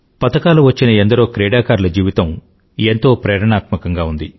medal వచ్చిన ఎందరో క్రీడాకారుల జీవితం ఎంతో ప్రేరణాత్మకంగా ఉంది